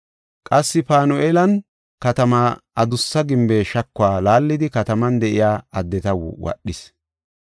Qassi Panu7eelan katamaa adussa gimbe shakuwa laallidi kataman de7iya addeta wodhis.